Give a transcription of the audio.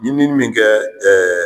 Ni min mi kɛ